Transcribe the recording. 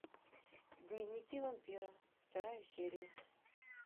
дневники вампира вторая серия